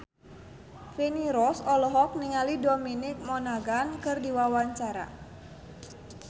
Feni Rose olohok ningali Dominic Monaghan keur diwawancara